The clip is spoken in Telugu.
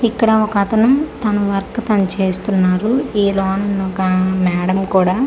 ఇక్కడ ఒక అతను తన వర్క్ తను చేస్తున్నారు ఈ లోనూ ఒక మేడమ్ కూడా తన వ--